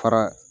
Fara